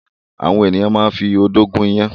Àwọn ènìyàn máa ń fi odó gún iyán.